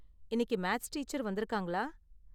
இன்னைக்கு maths teacher வந்துருக்காங்களா?